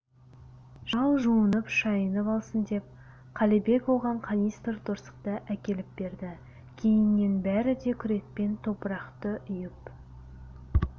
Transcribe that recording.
шал жуынып-шайынып алсын деп қалибек оған канистр торсықты әкеліп берді кейіннен бәрі де күрекпен топырақты үйіп